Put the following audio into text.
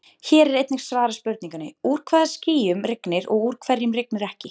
Hér er einnig svarað spurningunni: Úr hvaða skýjum rignir og úr hverjum rignir ekki?